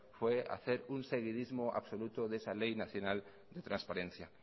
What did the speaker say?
fue hacer un seguidismo absoluto de esa ley nacional de transparencia